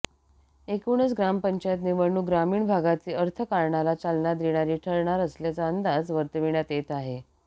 एकूणच ग्रामपंचायत निवडणूक ग्रामीण भागातील अर्थकारणाला चालना देणारी ठरणार असल्याचा अंदाज वर्तविण्यात येत आहे